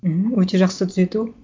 мхм өте жақсы түзету